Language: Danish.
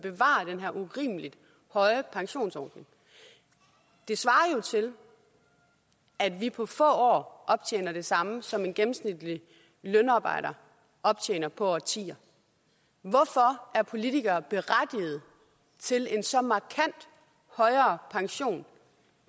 urimelig høje pensionsordning det svarer jo til at vi på få år optjener det samme som en gennemsnitlig lønarbejder optjener i årtier hvorfor er politikere berettiget til en så markant højere pension